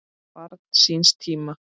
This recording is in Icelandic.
Barn síns tíma?